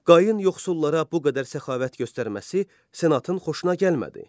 Qayın yoxsullara bu qədər səxavət göstərməsi Senatın xoşuna gəlmədi.